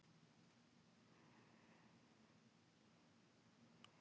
Kristján Hrafn Guðmundsson: Og hefur þú alltaf jafn gaman af þessu?